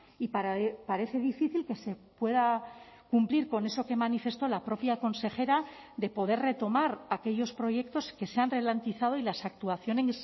y parece difícil que se pueda cumplir con eso que manifestó la propia consejera de poder retomar aquellos proyectos que se han ralentizado y las actuaciones